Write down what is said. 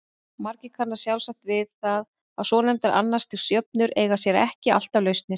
Margir kannast sjálfsagt við það að svonefndar annars stigs jöfnur eiga sér ekki alltaf lausnir.